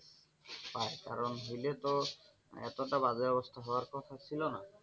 তার কারণ হইলে তো এতটা বাজে অবস্থা হওয়ার কথা ছিল না।